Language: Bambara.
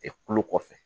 kulo kɔfɛ